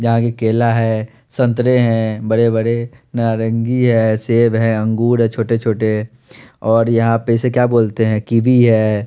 यहाँ केला है संतरे है बरे बरे नारंगी है सेब है अंगूर है छोटे छोटे और यापे इसे की बोलते है कीबी है।